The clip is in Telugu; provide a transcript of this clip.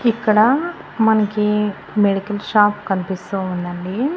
ఇక్కడ మనకి మెడికల్ షాప్ కనిపిస్తూ ఉందండి.